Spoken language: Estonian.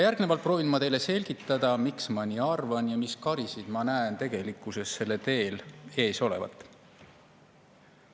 Järgnevalt proovin ma teile selgitada, miks ma nii arvan ja mis karisid ma näen tegelikkuses sellel teel ees olevat.